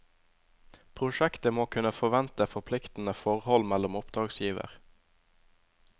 Prosjektet må kunne forvente forpliktenede forhold mellom oppdragsgiver.